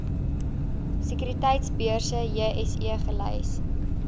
sekuriteitebeurs jse gelys